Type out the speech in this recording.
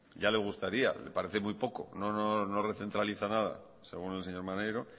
ya le gustaría le parece muy poco no no no recentraliza nada según el señor maneiro